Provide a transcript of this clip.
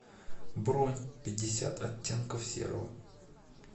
бронь пятьдесят оттенков серого